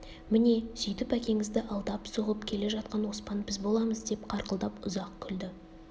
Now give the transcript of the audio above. міне сүйтіп әкеңізді алдап соғып келе жатқан оспан біз боламыз деп қарқылдап ұзақ күлді